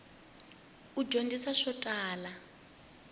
wu dyondzisa swo tala